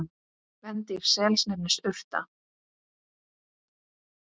Kvendýr sels nefnist urta.